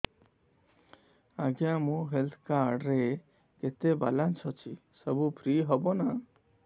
ଆଜ୍ଞା ମୋ health card ରେ କେତେ ବାଲାନ୍ସ ଅଛି ସବୁ ଫ୍ରି ହବ ନାଁ